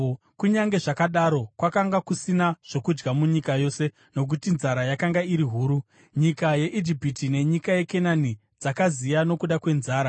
Kunyange zvakadaro, kwakanga kusina zvokudya munyika yose nokuti nzara yakanga iri huru, nyika yeIjipiti nenyika yeKenani dzakaziya nokuda kwenzara.